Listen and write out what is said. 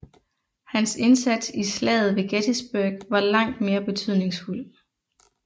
Hans indsats i Slaget ved Gettysburg var langt mere betydningsfuld